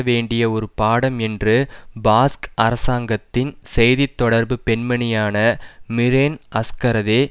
வேண்டிய ஒரு பாடம் என்று பாஸ்க் அரசாங்கத்தின் செய்தி தொடர்பு பெண்மணியான மிரென் அஸ்கரதே